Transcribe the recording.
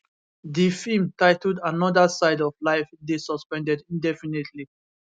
di feem titled another side of life dey suspended indefinitely